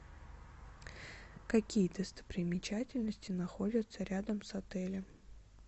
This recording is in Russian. какие достопримечательности находятся рядом с отелем